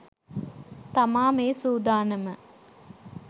තමා මේ සූදානම.